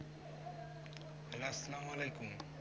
আসসালামু আলাইকুম